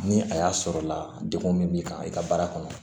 Ni a y'a sɔrɔla la degun min b'i kan i ka baara kɔnɔ